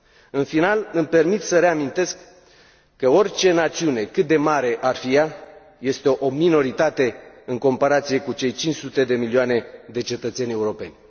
În final, îmi permit să reamintesc că orice națiune, cât de mare ar fi ea, este o minoritate în comparație cu cei 500 de milioane de cetățeni europeni.